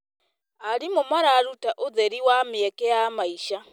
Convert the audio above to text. Arimũ mararuta ũtheri wa mĩeke ya maica.